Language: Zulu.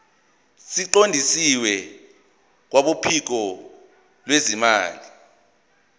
siqondiswe kwabophiko lwezimali